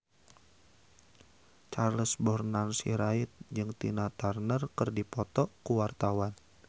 Charles Bonar Sirait jeung Tina Turner keur dipoto ku wartawan